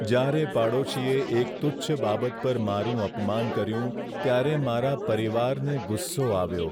જ્યારે પાડોશીએ એક તુચ્છ બાબત પર મારું અપમાન કર્યું, ત્યારે મારા પરિવારને ગુસ્સો આવ્યો.